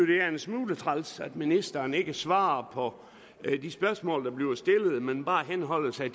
det er en smule træls at ministeren ikke svarer på de spørgsmål der bliver stillet man bare henholder sig